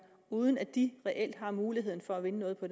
uden at de reelt har mulighed for at vinde noget på